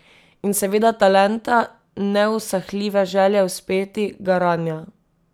In seveda talenta, neusahljive želje uspeti, garanja.